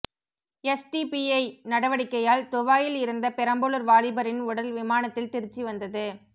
SDPI நடவடிக்கையால் துபாயில் இறந்த பெரம்பலூர் வாலிபரின் உடல் விமானத்தில் திருச்சி வந்தது